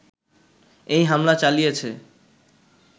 এই হামলা চালিয়েছে